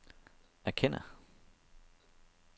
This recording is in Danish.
erkender